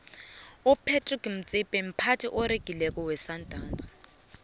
upratice motsipe mphathi oregileko wesandawnsi